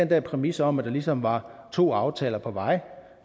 der præmis om at der ligesom var to aftaler på vej